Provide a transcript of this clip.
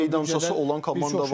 Yəni öz meydançası olan komanda var.